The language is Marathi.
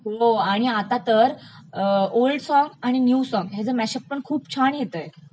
हो आणि आता तर अं ओल्ड सॉग्स आणि न्यू सॉन्ग्सचं मॅशअप पण खूप छान येतयं